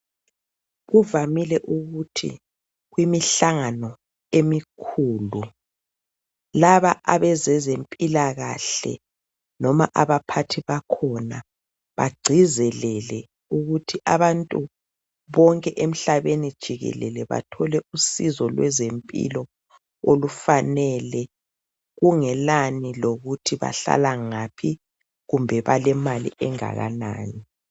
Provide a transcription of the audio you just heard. Kuvamile ukuthi kwimihlangano emikhulu laba ebezezempilakahle noma abaphathi bakhona bagcizelele ukuthi abantu bonke emhlabeni wonke jikelele bathole usizo kwezempilo olifanele kungelani lokuthi bahlala ngaphi kumbe balemali engakanani